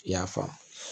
I y'a faamu